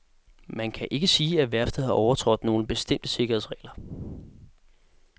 Man kan ikke sige, at værftet har overtrådt nogle bestemte sikkerhedsregler.